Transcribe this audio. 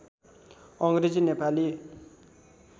Angrezi Nepali